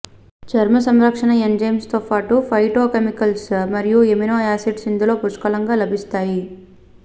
చర్మ సంరక్షణ ఎంజైమ్స్ తో పాటు ఫైటో కెమికల్స్ మరియు ఎమినో యాసిడ్స్ ఇందులో పుష్కలంగా లభిస్తాయి